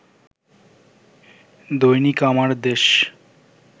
Dainik Amardesh